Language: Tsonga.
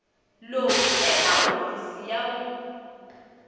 loku eka hofisi ya vun